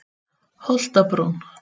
Holtabrún